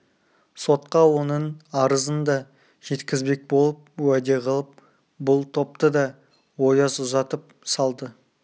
сотқа оның арызын да жеткізбек болып уәде қылып бұл топты да ояз ұзатып салды